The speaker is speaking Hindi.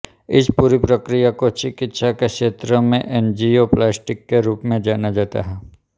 इस पूरी प्रक्रिया को चिकित्सा के क्षेत्र में एंजियोप्लास्टी के रूप में जाना जाता है